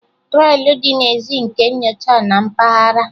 Trọlị dị n'èzí nke nyocha na mpaghara